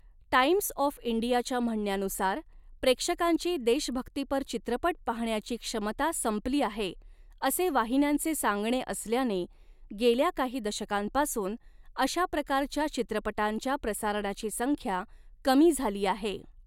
Times of इंडियाच्या म्हणण्यानुसार, प्रेक्षकांची देशभक्तीपर चित्रपट पाहण्याची क्षमता संपली आहे असे वाहिन्यांचे सांगणे असल्याने, गेल्या काही दशकांपासून अशा प्रकारच्या चित्रपटांच्या प्रसारणाची संख्या कमी झाली आहे.